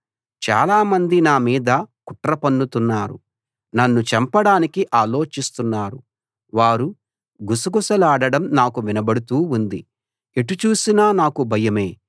చాలా మంది నా మీద కుట్ర పన్నుతున్నారు నన్ను చంపడానికి ఆలోచిస్తున్నారు వారు గుసగుసలాడడం నాకు వినబడుతూ ఉంది ఎటు చూసినా నాకు భయమే